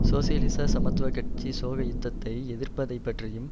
சோசியலிச சமத்துவ கட்சி சோசக யுத்தத்தை எதிர்ப்பதைப் பற்றியும்